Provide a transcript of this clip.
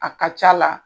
A ka c'a la